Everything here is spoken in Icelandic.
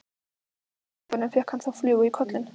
Af hverju í ósköpunum fékk hann þá flugu í kollinn?